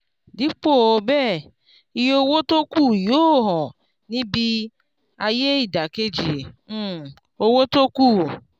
dípò bẹ́ẹ̀ iye owó tókù yóò hàn níbí ayé ìdàkejì um owó tókù.